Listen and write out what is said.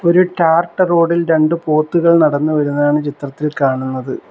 ഒരു ടാറിട്ട റോഡ് ഇൽ രണ്ടു പോത്തുകൾ നടന്നു വരുന്നതാണ് ചിത്രത്തിൽ കാണുന്നത്.